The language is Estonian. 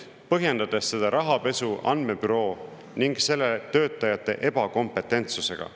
… põhjendades seda rahapesu andmebüroo ning selle töötajate ebakompetentsusega.